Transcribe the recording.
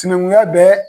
Sinankunya bɛ